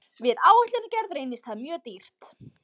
Við áætlunargerð reynist það mjög dýrt.